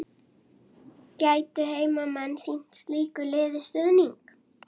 Við þurfum að eiga við þig orð sagði Valdimar.